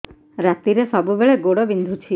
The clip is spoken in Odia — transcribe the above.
ରାତିରେ ସବୁବେଳେ ଗୋଡ ବିନ୍ଧୁଛି